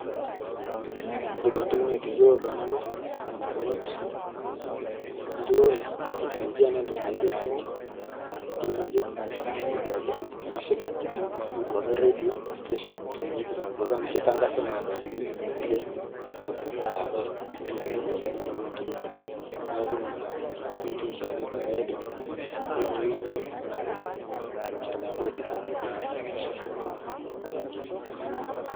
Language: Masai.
Iyiolo entoki naitayiolo nanu mpukunot enturore ee tekinolojia naa entoki naijio esimu, tv,radio station amu kitangazi esiai enturore neeku Nena aidim nayiolou Nena mbae tenewueji